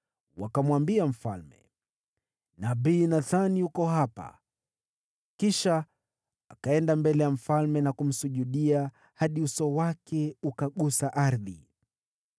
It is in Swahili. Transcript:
Wakamwambia mfalme, “Nabii Nathani yuko hapa.” Kisha akaenda mbele ya mfalme na kumsujudia hadi uso wake ukagusa ardhi.